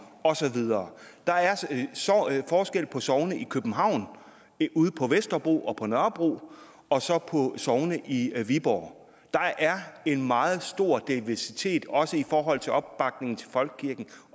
og så videre der er forskel på sogne i københavn ude på vesterbro og på nørrebro og så på sogne i viborg der er en meget stor diversitet også i forhold til opbakningen til folkekirken